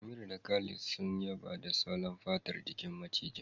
Amira da sadiq sun yaba da salon fatar jikin macijin